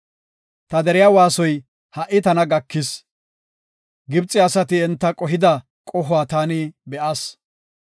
Ta deriya waasoy ha77i tana gakis. Gibxe asati enta qohida qohuwa taani be7as.